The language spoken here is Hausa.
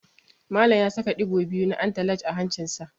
Malam ya saka ɗigo biyu na antalaj a hancinsa.